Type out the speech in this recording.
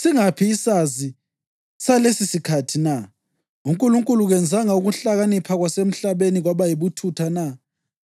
Singaphi isazi salesisikhathi na? UNkulunkulu kenzanga ukuhlakanipha kwasemhlabeni kwaba yibuthutha na?